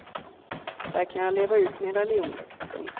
Där kan jag leva ut min religion. punkt